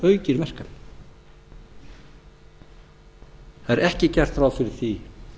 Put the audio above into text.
það er ekki gert ráð fyrir því